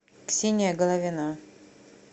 ксения головина